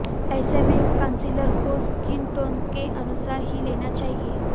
ऐसे में कंसीलर को स्किन टोन के अनुसार ही लेना चाहिए